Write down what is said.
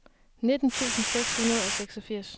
nitten tusind seks hundrede og seksogfirs